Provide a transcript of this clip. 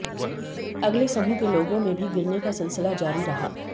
अगले समूह के लोगों में भी गिरने का सिलसिला जारी रहा